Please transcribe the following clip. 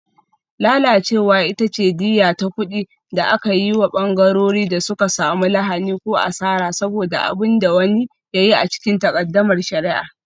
Lalacewa ita ce diyya ta kuɗi da ake bai wa ɓangarorin da suka samu lahani ko asara saboda abin da wani ya yi a cikin takaddamar shari'a.